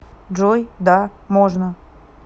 джой да можно